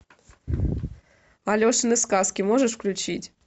алешины сказки можешь включить